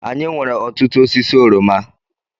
Anyị nwere ọtụtụ osisi oroma.